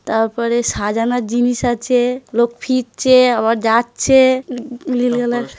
তারপরে সাজানোর জিনিস আছে.লোক ফিরছে আবার যাচ্ছে